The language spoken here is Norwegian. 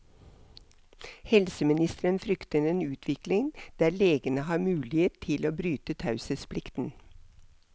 Helseministeren frykter en utvikling der legene har mulighet til å bryte taushetsplikten.